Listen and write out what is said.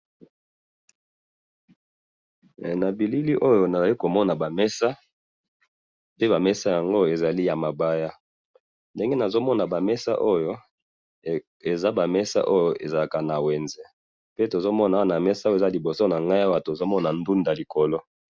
na bilili oyo nazo komona ba mesa pe ba mesa yango ezali ya mabaya ndenge nazo komona bamesa oyo eza ba mesa oyo ezalaka na wenze pe tozo mona ba mesa oyo ezali liboso na ngayi tozomona ndounda likolo